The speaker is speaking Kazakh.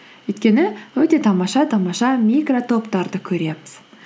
өйткені өте тамаша тамаша микротоптарды көреміз